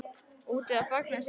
Úti að fagna sigri.